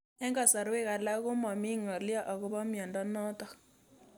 Eng'kasarwek alak ko mami ng'alyo akopo miondo notok